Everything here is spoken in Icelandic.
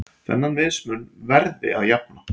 Þennan mismun verði að jafna.